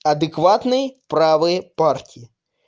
адекватный правые партии